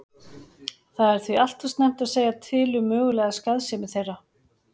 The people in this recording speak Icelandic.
Það er því allt of snemmt að segja til um mögulega skaðsemi þeirra.